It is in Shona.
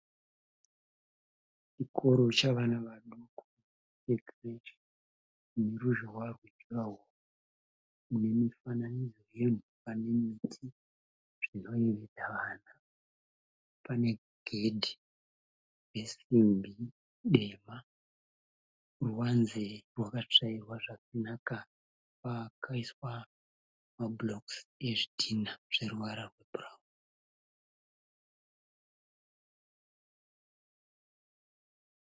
Chikoro chavana vaduku vekireshi neruzhowa rwe juraworo nemifananidzo yemhuka nemiti zvinoyevedza vana, pane gedhi resimbi dema ruwanze rwakatsvairwa zvakanaka pakaiswa mabhurokusi ezvidhinha zve ruvara rwebhurawuni.